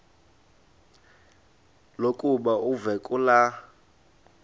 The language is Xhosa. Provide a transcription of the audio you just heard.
lokuba uve kulaa